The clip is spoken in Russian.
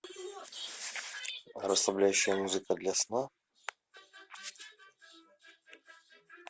расслабляющая музыка для сна